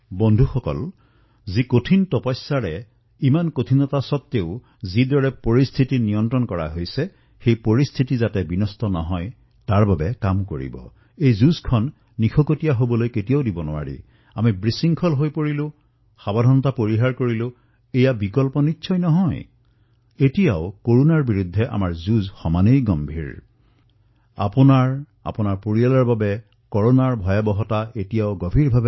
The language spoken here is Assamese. বন্ধুসকল আমি সকলোৱে এয়াও ধ্যান ৰাখিব লাগিব যে ইমান কঠিন সমস্যাৰ পিছতো দেশে যিদৰে পৰিস্থিতি চম্ভালি লৈছে তাক ধ্বংস হবলৈ দিব নালাগিব